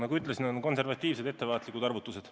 Nagu ütlesin, on tehtud konservatiivsed, ettevaatlikud arvutused.